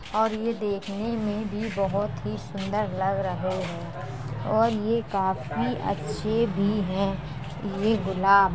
और ये देखने में भी बहोत ही सुंदर लग रहे हैं और ये काफी अच्छे भी हैं ये गुलाब।